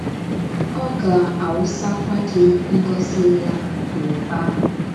Ọ ga - awụsakwa gị ngọzi ya n’ụba.